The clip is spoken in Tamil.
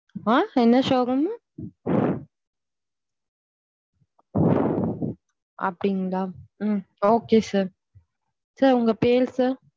ஆஹ் என்ன showroom ம்மு அப்படிங்களா உம் okay sir sir உங்க பேரு sir.